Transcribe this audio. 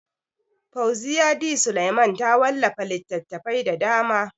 Fauziyya D. Suleiman ta wallafa littatafai da dama.